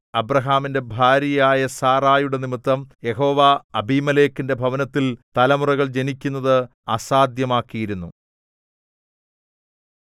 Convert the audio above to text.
അബ്രാഹാമിന്റെ ഭാര്യയായ സാറായുടെ നിമിത്തം യഹോവ അബീമേലെക്കിന്റെ ഭവനത്തിൽ തലമുറകൾ ജനിക്കുന്നത് അസാധ്യമാക്കിയിരുന്നു